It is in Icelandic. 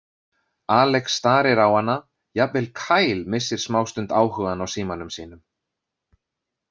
Alex starir á hana, jafnvel Kyle missir smástund áhugann á símanum sínum.